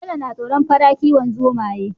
Bello na tsoron fara kiwon zomaye